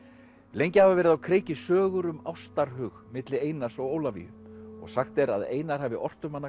lengi hafa verið á kreiki sögur um ástarhug milli Einars og Ólafíu og sagt er að Einar hafi ort um hana